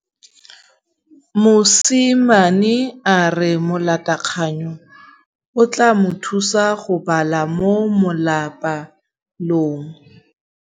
Mosimane a re molatekanyô o tla mo thusa go bala mo molapalong.